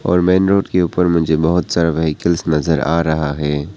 और main road के ऊपर मुझे बहुत सारा व्हीकल नजर आ रहा है।